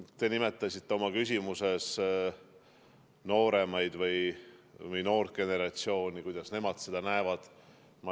Te nimetasite oma küsimuses noort generatsiooni – seda, kuidas nemad seda näevad.